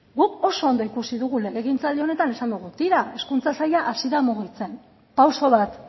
guk oso ondo ikusi dugu legegintzaldi honetan esan dugu tira hezkuntza saila hasi da mugitzen pauso bat